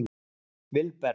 Vilberg